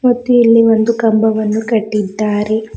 ಮತ್ತೆ ಇಲ್ಲಿ ಒಂದು ಕಂಬವನ್ನು ಕಟ್ಟಿದ್ದಾರೆ.